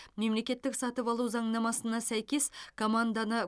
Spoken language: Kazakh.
мемлекеттік сатып алу заңнамасына сәйкес команданы